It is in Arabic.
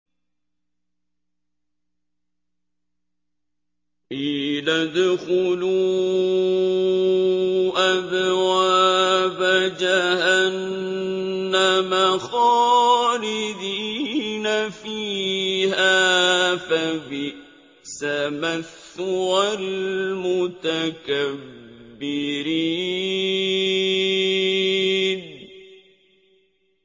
قِيلَ ادْخُلُوا أَبْوَابَ جَهَنَّمَ خَالِدِينَ فِيهَا ۖ فَبِئْسَ مَثْوَى الْمُتَكَبِّرِينَ